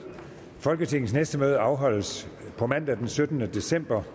folketingets næste møde afholdes på mandag den syttende december